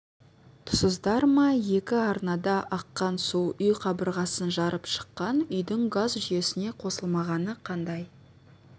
тұсыздар ма екі арнада аққан су үй қабырғасын жарып шыққан үйдің газ жүйесіне қосылмағаны қандай